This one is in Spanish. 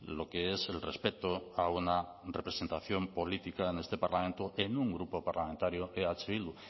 lo que es el respeto a una representación política en este parlamento en un grupo parlamentario eh bildu